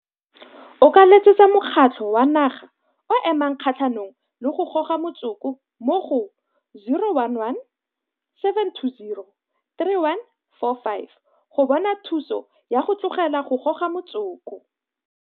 O ka letsetsa Mokgatlho wa Naga o o Emang Kgatlhanong le go Goga Motsoko mo go 011 720 3145 go bona thuso ya go tlogela go goga motsoko.